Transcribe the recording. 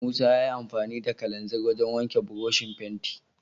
Musa yayi amfani da kalanzir wajen wanke burushin fenti.